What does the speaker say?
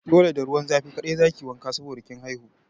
Dole da ruwan zafi kaɗai za ki yi wanka saboda kin haihu!